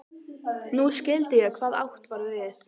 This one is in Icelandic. Nú skildi ég hvað átt var við.